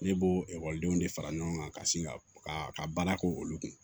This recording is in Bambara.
Ne b'o ekɔlidenw de fara ɲɔgɔn kan ka sin ka ka ka baara kɛ olu kun